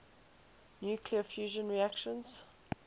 nuclear fusion reactions